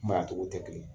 Maa tɔgɔw tɛ kelen ye